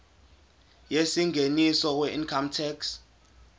yengeniso weincome tax